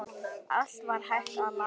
Allt var hægt að laga.